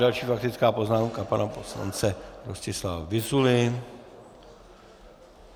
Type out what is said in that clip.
Další faktická poznámka pana poslance Rostislava Vyzuly.